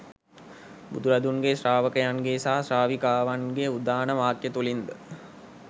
බුදුරදුන්ගේ ශ්‍රාවකයන්ගේ සහ ශ්‍රාවිකාවන්ගේ උදාන වාක්‍ය තුළින් ද